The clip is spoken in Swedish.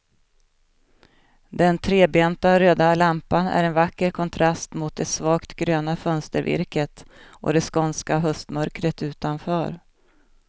Den trebenta röda lampan är en vacker kontrast mot det svagt gröna fönstervirket och det skånska höstmörkret utanför.